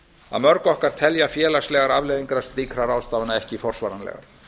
að mörg okkar telja félagslegar afleiðingar slíkra ráðstafana ekki forsvaranlegar